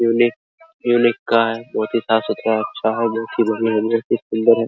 Unique unique का है बहुत ही साफ़-सुथरा अच्छा है जो की बड़ी अंदर से सुंदर है।